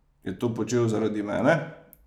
Je to počel zaradi mene?